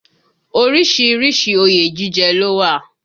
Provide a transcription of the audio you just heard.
Orísìírísìí òye jíjẹ ló wà